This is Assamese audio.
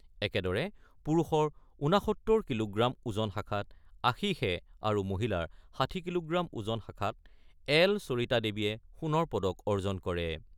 একেদৰে পুৰুষৰ ৬৯ কিলোগ্ৰাম ওজন শাখাত আশীষে আৰু মহিলাৰ ৬০ কিলোগ্ৰাম ওজন শাখাত এল সৰিতা দেৱীয়ে সোণৰ পদক অৰ্জন কৰে।